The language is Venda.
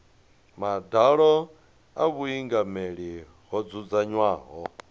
madalo a vhuingameli ho dzudzanywaho